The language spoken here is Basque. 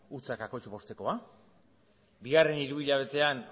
zero koma bostekoa bigarren hiruhilabetean